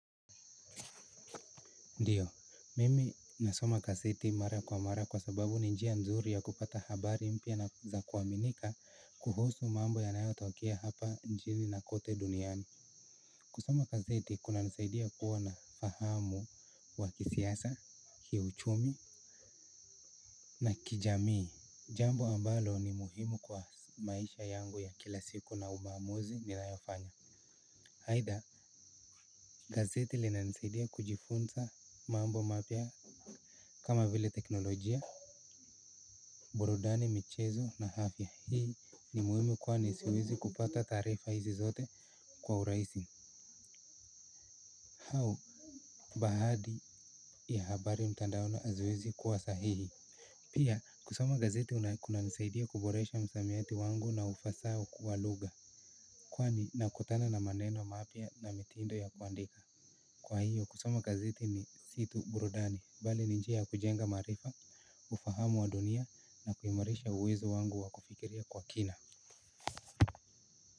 Ndiyo, mimi nasoma gazeti mara kwa mara kwa sababu ni njia nzuri ya kupata habari mpya na za kuaminika kuhusu mambo yanayotokea hapa nchini na kote duniani. Kusoma gazeti kunanisaidia kuwa na ufahamu wa kisiasa, kiuchumi na kijamii. Jambo ambalo ni muhimu kwa maisha yangu ya kila siku na maamuzi ninayofanya. Aidha, gazeti linanisaidia kujifunza mambo mapya kama vile teknolojia. Burudani michezo na afya hii ni muhimu kwani siwezi kupata taarifa hizi zote kwa urahisi au baadhi ya habari mtandaoni haziwezi kuwa sahihi. Pia kusoma gazeti kuna kunanisaidia kuboresha msamiati wangu na ufasaha wa lugha. Kwani nakutana na maneno mapya na mitindo ya kuandika. Kwa hiyo kusoma gazeti ni si tu burudani bali ni njia ya kujenga maarifa ufahamu wa dunia na kuimarisha uwezo wangu wa kufikiria kwa kina.